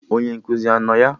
Onye nkụzi anọ ya?